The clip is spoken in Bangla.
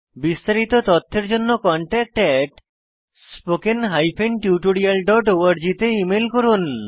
বিস্তারিত তথ্যের জন্য contactspoken tutorialorg তে ইমেল করুন